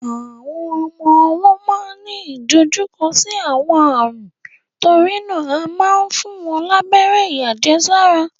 Àwọn ọmọ ọwọ́ máa ń ní ìdojúkọ sí àwọn ààrùn, torí náà a máa ń fún wọn lábẹ́rẹ́ àjẹsára.